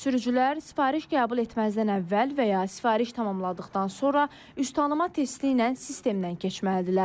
Sürücülər sifariş qəbul etməzdən əvvəl və ya sifariş tamamladıqdan sonra üz tanıma testi ilə sistemdən keçməlidirlər.